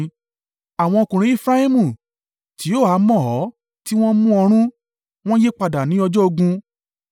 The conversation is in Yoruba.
Àwọn ọkùnrin Efraimu, tí ó há mọ́ ọ tí wọ́n mú ọrun, wọ́n yípadà ní ọjọ́ ogun